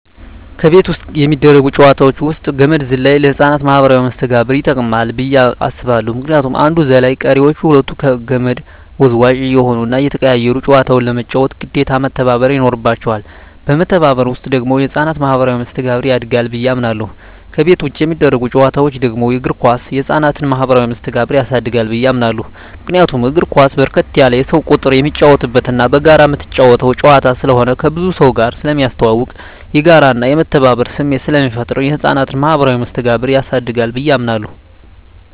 ከቤት ውስጥ የሚደረጉ ጨዋታወች ውስጥ ገመድ ዝላይ ለህፃናት ማኀበራዊ መስተጋብር ይጠቅማ ብየ አስባለሁ ምክንያቱም አንዱ ዘላይ ቀሪወች ሁለቱ ከመድ ወዝዋዥ እየሆኑና እየተቀያየሩ ጨዋታውን ለመጫወት ግዴታ መተባበር ይኖርባቸዋል በመተባበር ውስጥ ደግሞ የህፃናት ማኋበራዊ መስተጋብር ያድጋል ብየ አምናለሁ። ከቤት ውጭ የሚደረጉ ጨዋታወች ደግሞ እግር ኳስ የህፃናትን ማህበራዊ መስተጋብር ያሳድጋል ብየ አምናለሁ። ምክንያቱም እግር ኳስ በርከት ያለ የሰው ቁጥር የሚጫወትበትና በጋራ ምትጫወተው ጨዋታ ስለሆነ ከብዙ ሰውጋር ስለሚያስተዋውቅ፣ የጋራና የመተባበር ስሜት ስለሚፈጥር የህፃናትን ማኀበራዊ መስተጋብር ያሳድጋል ብየ አምናለሁ።